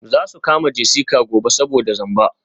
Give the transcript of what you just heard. Za su kama Jessica gobe saboda zamba.